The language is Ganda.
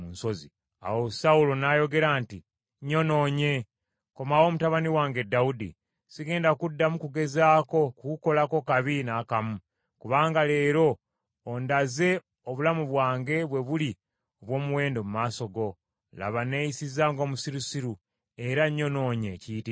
Awo Sawulo n’ayogera nti, “Nnyonoonye. Komawo mutabani wange Dawudi. Sigenda kuddamu kugezaako kukukolako kabi n’akamu, kubanga leero ondaze, obulamu bwange bwe buli obw’omuwendo mu maaso go. Laba neeyisizza ng’omusirusiru, era nnyonoonye ekiyitiridde.”